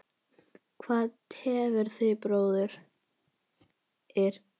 Hvað tefur þig bróðir?